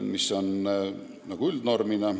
See on üldnorm.